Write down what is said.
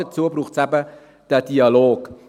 Dazu braucht es eben den Dialog.